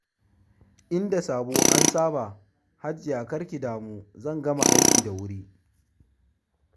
In da sabo an saba, Hajiya kar ki damu zan gama aikin da wuri.